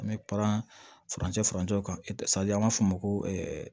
An bɛ paran furancɛ farancɛ kan an b'a f'o ma ko